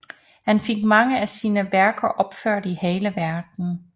Han fik mange af sine værker opført i hele Verden